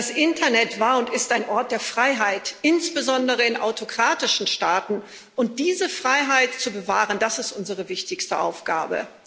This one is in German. Das Internet war und ist ein Ort der Freiheit, insbesondere in autokratischen Staaten, und diese Freiheit zu bewahren, das ist unsere wichtigste Aufgabe.